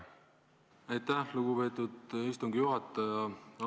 Aitäh, lugupeetud istungi juhataja!